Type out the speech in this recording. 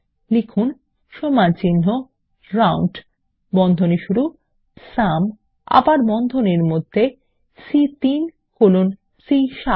লিখুন সমানচিহ্ন রাউন্ড বন্ধনী শুরু সুম এবং আবার বন্ধনীর মধ্যে সি3 কোলন সি7